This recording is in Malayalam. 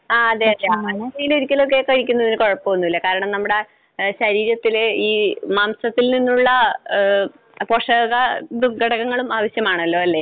ആ അതെയോ. ആഴ്ചയിലൊരിക്കലൊക്കെ കഴിക്കുന്നതിന് കുഴപ്പമൊന്നുമില്ല. കാരണം നമ്മുടെ ശരീരത്തിൽ ഈ മാംസത്തിൽ നിന്നുള്ള പോഷകഘടകങ്ങളും ആവശ്യമാണല്ലോ അല്ലെ?